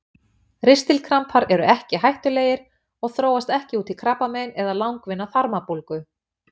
Ristilkrampar eru ekki hættulegir og þróast ekki út í krabbamein eða langvinna þarmabólgu.